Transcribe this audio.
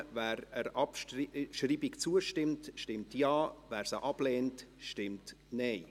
Wer der Abschreibung zustimmt, stimmt Ja, wer diese ablehnt, stimmt Nein.